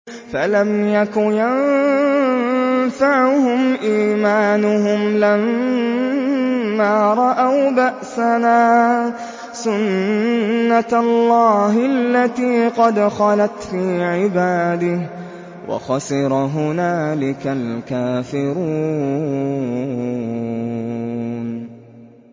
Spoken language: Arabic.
فَلَمْ يَكُ يَنفَعُهُمْ إِيمَانُهُمْ لَمَّا رَأَوْا بَأْسَنَا ۖ سُنَّتَ اللَّهِ الَّتِي قَدْ خَلَتْ فِي عِبَادِهِ ۖ وَخَسِرَ هُنَالِكَ الْكَافِرُونَ